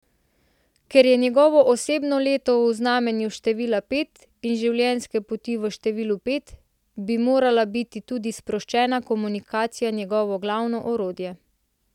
Ker je njegovo osebno leto v znamenju števila pet in življenjske poti v številu pet, bi morala biti tudi sproščena komunikacija njegovo glavno orodje.